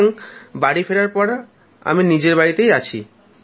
সুতরাং ফেরার পর আমি নিজের বাড়িতেই আছি